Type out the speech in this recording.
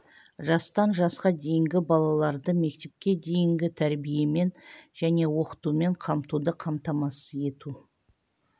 жастан жасқа дейінгі балаларды мектепке дейінгі тәрбиемен және оқытумен қамтуды қамтамасыз ету